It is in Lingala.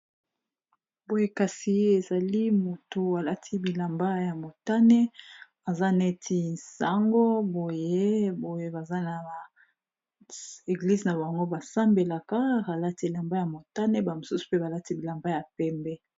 boye kasi ezali moto alati bilamba ya motane aza neti nsango boye boye baza na ba eglize na bango basambelaka ralati bilamba ya motane bamosusu mpe balati bilamba ya pembe